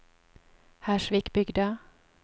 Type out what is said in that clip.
Hersvikbygda